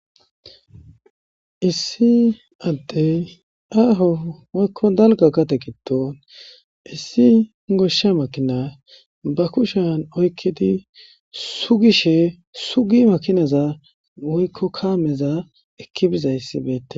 issi addey aaho woykko dalga gade gidon issi goshsha makina ba kushan oykkidi sugishe sugi makinaza woykko kaameza ekki bizayssi beettes